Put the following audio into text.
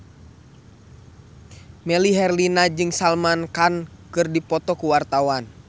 Melly Herlina jeung Salman Khan keur dipoto ku wartawan